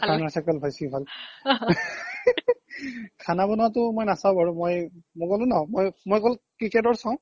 খানা চাকাল বেছি ভাল খানা বনোৱা তো মই নাচাও বাৰু মই ক্'লো ন মই অকল kitchen ৰ চাও